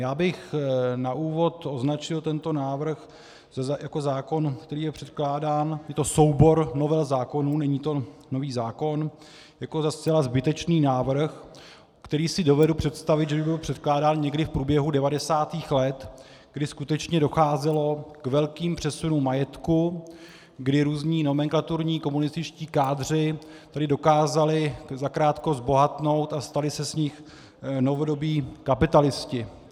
Já bych na úvod označil tento návrh jako zákon, který je předkládán, je to soubor novel zákonů, není to nový zákon, jako za zcela zbytečný návrh, který si dovedu představit, že by byl předkládán někdy v průběhu 90. let, kdy skutečně docházelo k velkým přesunům majetku, kdy různí nomenklaturní komunističtí kádři tedy dokázali zakrátko zbohatnout a stali se z nich novodobí kapitalisté.